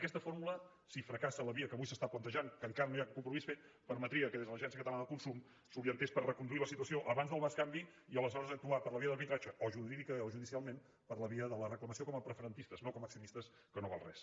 aquesta fórmula si fracassa la via que avui s’està plantejant que encara no hi ha un compromís fet permetria que des de l’agència catalana de consum s’orientés per reconduir la situació abans del bescanvi i aleshores actuar per la via de l’arbitratge o jurídica o judicialment per la via de la reclamació com a preferentistes no com accionistes que no val res